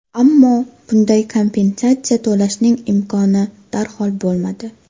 Ammo bunday kompensatsiya to‘lashning imkoni darhol bo‘lmadi.